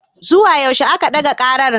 Zuwa yaushe a ka ɗaga ƙarar.